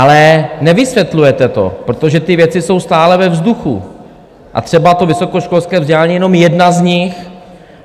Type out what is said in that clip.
Ale nevysvětlujete to, protože ty věci jsou stále ve vzduchu, a třeba to vysokoškolské vzdělání je jenom jedna z nich.